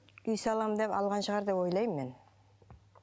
үй саламын деп алған шығар деп ойлаймын мен